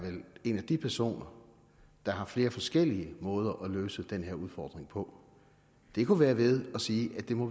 en af de personer der har flere forskellige måder at løse den her udfordring på det kunne være ved at sige at vi må